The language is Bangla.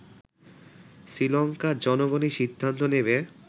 শ্রীলংকার জনগণই সিদ্ধান্ত নেবে